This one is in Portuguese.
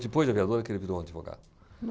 Depois de aviador, é que ele virou advogado.